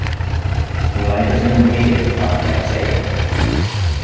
Hún lætur sem hún heyri ekki hvað hann er að segja.